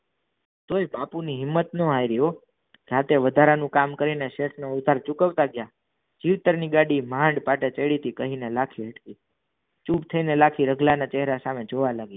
તોય બાપુ ની હિંમત ન હારી રાત્રે વધારાનું કામ કરીને સેટ નો ઉદ્ધાર ચૂકવતા ગયા ગાડીમાં પાટે ચઢીતી કહિને લા ચૂપ થઈ ને લાખી રતલા સાહમે જોવા લગિયો